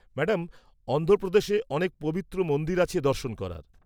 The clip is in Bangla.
-ম্যাডাম অন্ধ্রপ্রদেশে অনেক পবিত্র মন্দির আছে দর্শন করার।